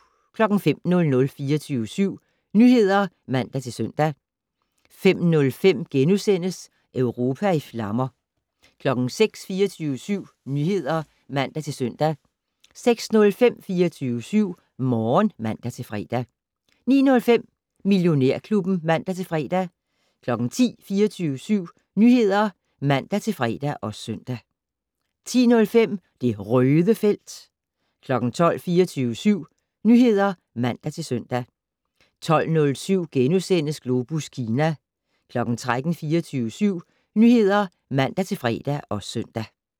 05:00: 24syv Nyheder (man-søn) 05:05: Europa i flammer * 06:00: 24syv Nyheder (man-søn) 06:05: 24syv Morgen (man-fre) 09:05: Millionærklubben (man-fre) 10:00: 24syv Nyheder (man-fre og søn) 10:05: Det Røde felt 12:00: 24syv Nyheder (man-søn) 12:07: Globus Kina * 13:00: 24syv Nyheder (man-fre og søn)